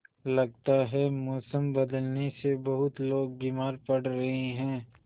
लगता है मौसम बदलने से बहुत लोग बीमार पड़ रहे हैं